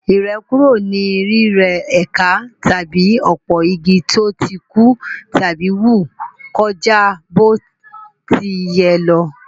Ìrẹ́kúrò ni rírẹ́ ẹ̀ka tàbí òpó-igi tó ti kú tàbí wù kọjá bó ti yẹ lọ.